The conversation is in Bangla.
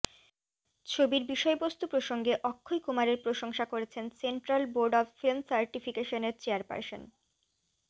ছবির বিষয়বস্তু প্রসঙ্গে অক্ষয় কুমারের প্রশংসা করেছেন সেন্ট্রাল বোর্ড অফ ফিল্ম সার্টিফিকেশনের চেয়ারপার্সন